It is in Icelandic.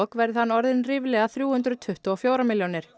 verði hann orðinn ríflega þrjú hundruð tuttugu og fjórar milljónir